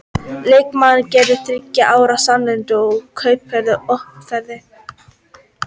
Leikmaðurinn gerir þriggja ára samning, en kaupverðið er óuppgefið.